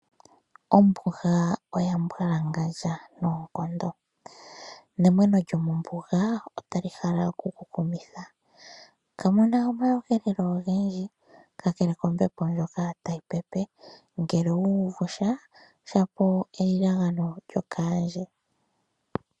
Ombuga oya mbwalangandja noonkondo, nemweno lyomombuga otali hala oku ku kumitha. Kamuna omaweelelo ogendji kakele kombepo ndjoka tayi pepe, ngele owu uvusha shapo elilagano lyokaandje.